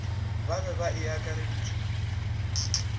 ba e be e akareditšwe